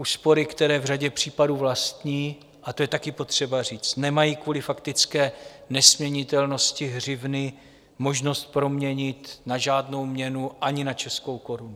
Úspory, které v řadě případů vlastní - a to je také potřeba říct - nemají kvůli faktické nesměnitelnosti hřivny možnost proměnit na žádnou měnu, ani na českou korunu.